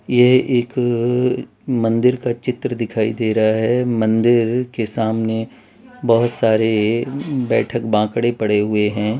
ये एक मंदिर का चित्र दिखाई दे रहा है मंदिर के सामने बोहोत सारे बैठक बाकड़ें पड़े हुए हैं।